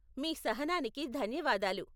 మీ సహనానికి ధన్యవాదాలు.